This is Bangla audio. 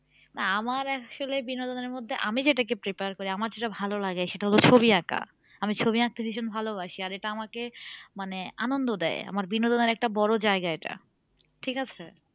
আমার আসলে বিনোদনের মধ্যে আমি যেটাকে prefer করি আমার যেটা ভালোলাগে সেটা হলে ছবি আঁকা আমি ছবি আঁকাতে ভীষণ ভালোবাসি আর এটা আমাকে মানে আনন্দ দেয় আমার বিনোদনের একটা বড়ো জায়গা এটা ঠিক আছে